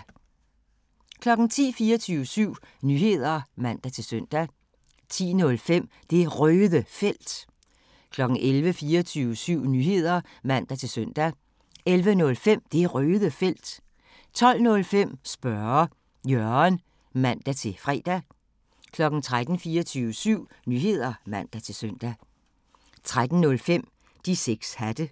10:00: 24syv Nyheder (man-søn) 10:05: Det Røde Felt 11:00: 24syv Nyheder (man-søn) 11:05: Det Røde Felt 12:05: Spørge Jørgen (man-fre) 13:00: 24syv Nyheder (man-søn) 13:05: De 6 Hatte